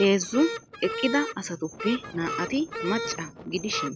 Heezzu eqqida asattuppe naa'atti macca gidishiin